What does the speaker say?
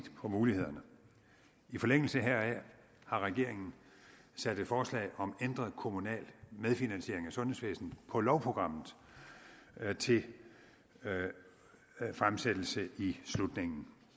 på mulighederne i forlængelse heraf har regeringen sat et forslag om ændret kommunal medfinansiering af sundhedsvæsenet på lovprogrammet til fremsættelse i slutningen